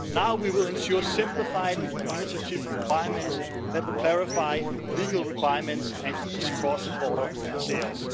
Now we will ensure simplified administrative requirements that will clarify legal requirements and ease cross-border sales.